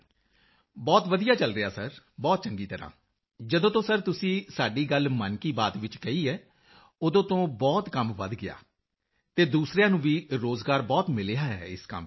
ਮੰਜ਼ੂਰ ਜੀ ਬਹੁਤ ਵਧੀਆ ਚਲ ਰਿਹਾ ਹੈ ਸਰ ਬਹੁਤ ਚੰਗੀ ਤਰ੍ਹਾਂ ਜਦੋਂ ਤੋਂ ਸਰ ਤੁਸੀਂ ਸਾਡੀ ਗੱਲ ਮਨ ਕੀ ਬਾਤ ਵਿੱਚ ਕਹੀ ਸਰ ਉਦੋਂ ਤੋਂ ਬਹੁਤ ਕੰਮ ਵਧ ਗਿਆ ਸਰ ਅਤੇ ਦੂਸਰਿਆਂ ਨੂੰ ਵੀ ਰੋਜ਼ਗਾਰ ਬਹੁਤ ਮਿਲਿਆ ਹੈ ਇਸ ਕੰਮ ਵਿੱਚ